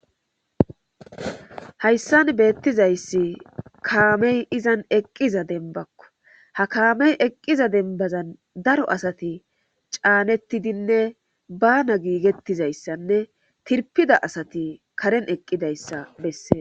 hayssan beettizayssi kaamey izan eqqiza denbakko ha kaamey eqqiza dembazan daro asati caanettidinne bana giigettizayssanne tirpida asati karen eqqidayssa bessee